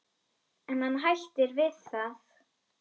En hann hættir við það.